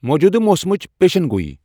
موجودٕ موسمچ پیشن گویی ۔